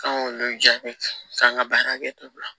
K'an k'olu jaabi k'an ka baara kɛ